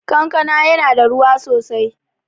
Kankana yana da ruwa sosai